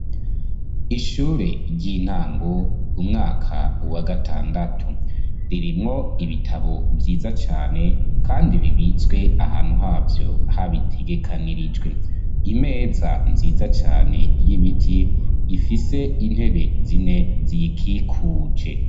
Ishure ry'intango, umwaka wa gatandatu, ririmwo ibitabo vyiza cane, kandi bibitswe ahantu havyo, habitegekanirijwe, imeza cane, y'ibiti, ifise intebe zine, ziyikikuje.